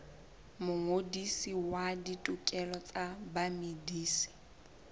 mongodisi wa ditokelo tsa bamedisi